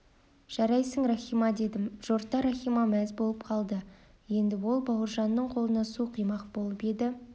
жарайсың рахима дедім жорта рахима мәз болып қалды еңді ол бауыржанның қолына су құймақ болып еді